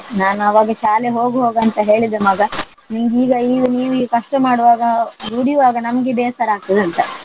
ನಾನು ಅವಾಗ ಶಾಲೆ ಹೋಗು ಹೋಗು ಅಂತ ಹೇಳಿದೆ ಮಗ ನೀನು ಈಗ ನೀವು ನೀವು ಈಗ ಕಷ್ಟ ಮಾಡುವಾಗ ದುಡಿಯುವಾಗ ನಮ್ಗೆ ಬೇಸರ ಆಗ್ತದಂತ.